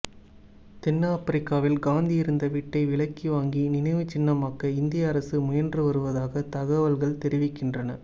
தென்னாப்பிரிக்காவில் காந்தி இருந்த வீட்டை விலைக்கு வாங்கி நினைவுச்சின்னமாக்க இந்திய அரசு முயன்று வருவதாக தகவல்கள் தெரிவிக்கின்றன